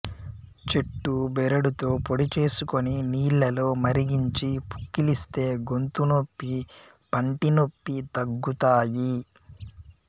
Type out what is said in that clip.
చెట్టు బెరడుతో పొడి చేసుకొని నీళ్లలో మరిగించి పుక్కిలిస్తే గొంతునొప్పి పంటి నొప్పి తగ్గుతాయి